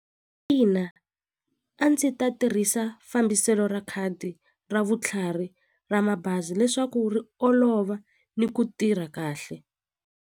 Ina a ndzi ta tirhisa fambiselo ra khadi ra vutlhari ra mabazi leswaku ri olova ni ku tirha kahle.